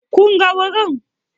Kun ga wurin?